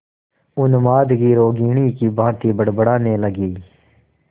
उन्माद की रोगिणी की भांति बड़बड़ाने लगी